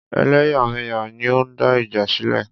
Ẹlẹ́yàmẹ̀yà ni ó ń dá ìjà sílẹ̀.